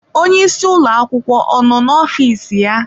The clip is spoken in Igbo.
Onye isi ụlọ akwụkwọ ọ nọ n'ofiisi ya?